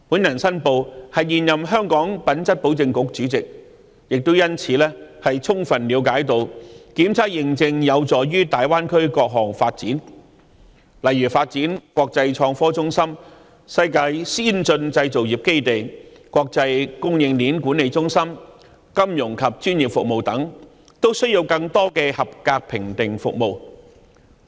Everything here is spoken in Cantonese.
我申報我是現任香港品質保證局主席，亦因此充分了解檢測認證有助大灣區各項發展，例如發展國際創科中心、世界先進製造業基地、國際供應鏈管理中心，以至金融及專業服務等，均需要更多的合格評定服務。